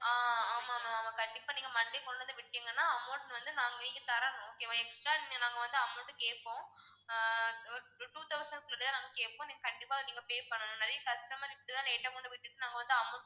ஆஹ் ஆமா ma'am ஆமா கண்டிப்பா நீங்க monday கொண்டு வந்து விட்டீங்கன்னா amount வந்து நான் நீங்க தரணும் okay வா extra நாங்க வந்து amount கேப்போம் ஆஹ் ஒரு two thousand க்குள்ள தான் நாங்க கேப்போம் நீங்க கண்டிப்பா நீங்க pay பண்ணணும் நிறைய customer இப்படித்தான் late அ கொண்டு வந்து விட்டிட்டு நாங்க வந்து amount